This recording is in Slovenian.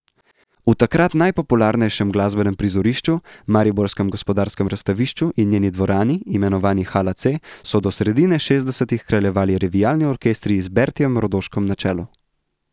V takrat najpopularnejšem glasbenem prizorišču, mariborskem gospodarskem razstavišču in njeni dvorani, imenovani Hala C, so do sredine šestdesetih kraljevali revijalni orkestri z Bertijem Rodoškom na čelu.